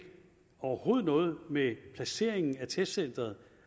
overhovedet ikke noget med placeringen af testcenteret